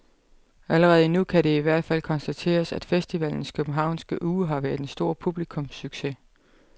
Allerede nu kan det i hvert fald konstateres, at festivalens københavnske uge har været en stor publikumssucces.